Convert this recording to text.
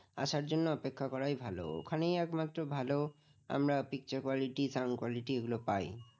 আসার জন্য অপেক্ষা করাই ভালো ওখানেই একমাত্র ভালো আমরা picture quality sound quality এগুলো পাই